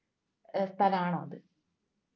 സ്ഥലാണോ അത്